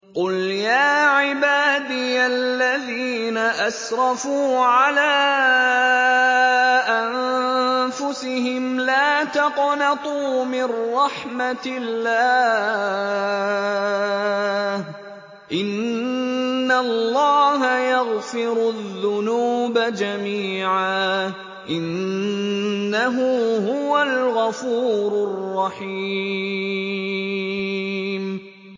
۞ قُلْ يَا عِبَادِيَ الَّذِينَ أَسْرَفُوا عَلَىٰ أَنفُسِهِمْ لَا تَقْنَطُوا مِن رَّحْمَةِ اللَّهِ ۚ إِنَّ اللَّهَ يَغْفِرُ الذُّنُوبَ جَمِيعًا ۚ إِنَّهُ هُوَ الْغَفُورُ الرَّحِيمُ